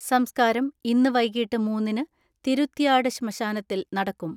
സംസ്കാരം ഇന്ന് വൈകിട്ട് മൂന്നിന് തിരുത്തിയാട് ശ്മശാനത്തിൽ നടക്കും.